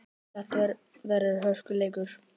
Þetta verður hörkuleikur!